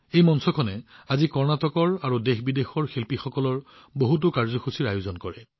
এই মঞ্চখনে আজি কৰ্ণাটক আৰু ভাৰত তথা বিদেশৰ শিল্পীসকলৰ বহুতো কাৰ্যসূচীৰ আয়োজন কৰে